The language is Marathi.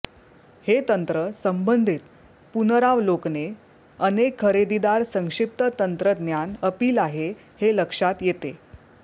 हे तंत्र संबंधित पुनरावलोकने अनेक खरेदीदार संक्षिप्त तंत्रज्ञान अपील आहे हे लक्षात येते